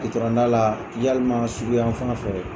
Gitɔrɔnda la yalima surunyan fan fɛ.